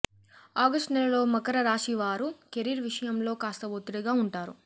August నెలలో మకర రాశి వారు కెరీర్ విషయంలో కాస్త ఒత్తిడిగా ఉంటారు